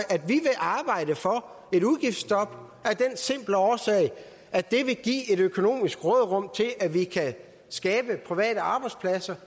arbejde for et udgiftsstop af den simple årsag at det vil give et økonomisk råderum til at vi kan skabe private arbejdspladser